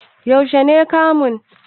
Yaushe ne kamun?